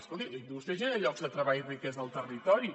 escolti la indústria genera llocs de treball i riquesa al territori